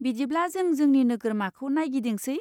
बिदिब्ला जों जोंनि नोगोरमाखौ नायगिदिंसै?